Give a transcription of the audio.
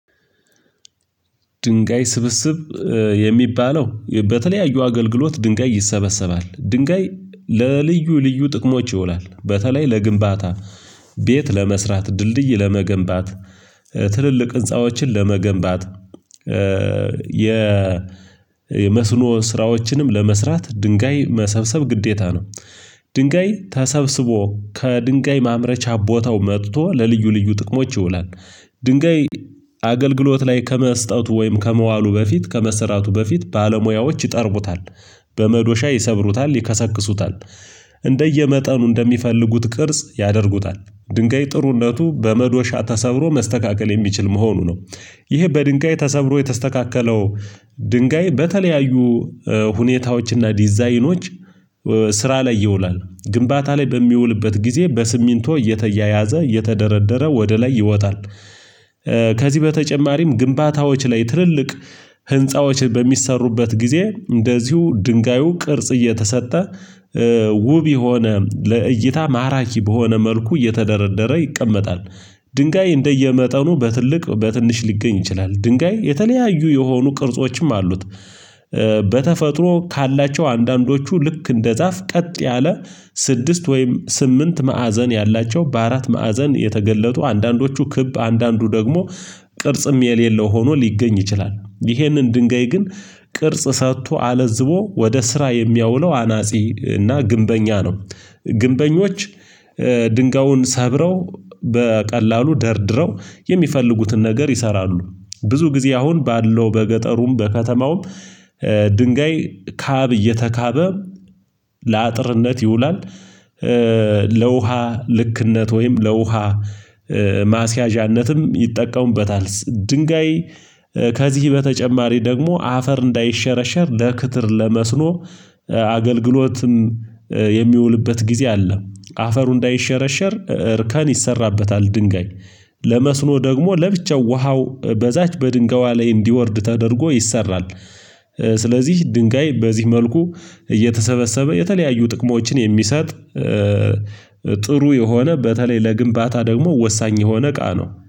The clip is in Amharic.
ድንጋይ ስብስብ የሚባለው፥ በተለያዩ አገልግሎት ድንጋይ ይሰበሰባል። ድንጋይ ለልዩ ልዩ ጥቅሞች ይውላል። በተለይ ለግንባታ ቤት ለመስራት፣ ድልድይ ለመገንባት፣ ትልልቅ ህንፃዎችን ለመገንባት፣ የመስኖ ስራዎችንም ለመስራት ድንጋይ መሰብሰብ ግዴታ ነው። ድንጋይ ተሰብስቦ ከድንጋይ ማምረቻ ቦታው መጥቶ ለልዩ ልዩ ጥቅሞች ይውላል። ድንጋይ አገልግሎት ላይ ከመስጠቱ ወይም ከመዋሉ በፊት ከመስራቱ በፊት ባለሙያዎች ይጠርቡታል። በመዶሻ ይሰብሩታል፤ ይከሰክሱታል። እንደየመጠኑ እንደሚፈልጉት ቅርጽ ያደርጉታል። ድንጋይ ጥሩነቱ በመዶሻ ተሰብሮ መስተካከል የሚችል መሆኑ ነው። ይሄ በድንጋይ ተሰብሮ የተስተካከለው ድንጋይ በተለያዩ ሁኔታዎችና ዲዛይኖች ስራ ላይ ይውላል። ግንባታ ላይ በሚውልበት ጊዜ በስሚንቶ እየተያያዘ እየተደረደረ ወደ ላይ ይወጣል። ከዚህ በተጨማሪም ግንባታዎች ላይ ትልልቅ ህንፃዎች በሚሰሩበት ጊዜ እንደዚሁ ድንጋዩ ቅርጽ እየተሰጠ ውብ የሆነ ለእይታ ማራኪ በሆነ መልኩ እየተደረደረ ይቀመጣል። ድንጋይ እንደየመጠኑ በትልቅ በትንሽ ሊገኝ ይችላል። ድንጋይ የተለያዩ የሆኑ ቅርጾችም አሉት። በተፈጥሮ ካላቸው አንዳንዶቹ ልክ እንደ ዛፍ ቀጥ ያለ ስድስት ወይም ስምንት ማዕዘን ያላቸው፣ በአራት ማዕዘን የተገለጡ፣ አንዳንዶቹ ክብ አንዳንዱ ደግሞ ቅርጽም የሌለው ሆኖ ሊገኝ ይችላል። ይህንን ድንጋይ ግን ቅርጽ ሰጥቶ አለዝቦ ወደ ስራ የሚያውለው አናጺ እና ግንበኛ ነው። ግንበኞች ድንጋዩን ሰብረው በቀላሉ ደርድረው የሚፈልጉትን ነገር ይሰራሉ። ብዙ ጊዜ አሁን ባለው በገጠሩም በከተማውም ድንጋይ ካብ እየተካበ ለአጥርነት ይውላል። ለውሃ ልክነት ወይም ለውሃ ማስያዣነትም ይጠቀሙበታል። ድንጋይ ከዚህ በተጨማሪ ደግሞ አፈር እንዳይሸረሸር ለክትር ለመስኖ አገልግሎትም የሚውልበት ጊዜ አለ። አፈሩ እንዳይሸረሸር እርከን ይሰራበታል ድንጋይ። ለመስኖ ደግሞ ለብቻው ውሃው በዛች በድንጋይዋ ላይ እንዲወርድ ተደርጎ ይሰራል። ስለዚህ ድንጋይ በዚህ መልኩ እየተሰበሰበ የተለያዩ ጥቅሞችን የሚሰጥ ጥሩ የሆነ በተለይ ለግንባታ ደግሞ ወሳኝ የሆነ ቃ ነው።